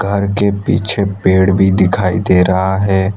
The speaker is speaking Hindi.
घर के पीछे पेड़ भी दिखाई दे रहा है।